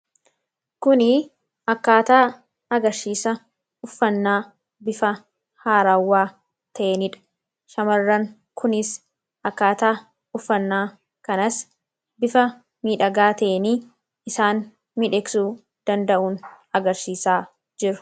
Kuni akkaataa agarsiisa uffannaa bifa haaraawwaa ta'eenidha. Shamarran kunis akkaataa uffannaa kanas bifa miidhagaa ta'eeni isaan miidhagsu danda'uun agarsiisaa jiru.